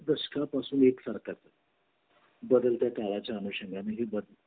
first या पासून एक सारखा बदलत्या काळाच्या अनुषंगणी